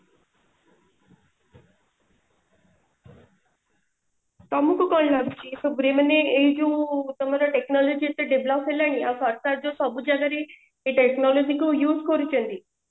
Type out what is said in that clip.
ତମକୁ କଣ ଲାଗୁଛି ଏସବୁ ରେ ମାନେ ଏଇ ଯୋଉ ତମର technology ଏତେ develop ହେଲାଣି ଆଉ ସରକାର ଯୋଉ ସବୁ ଜାଗାରେ ଏଇ technology କୁ use କରୁଛନ୍ତି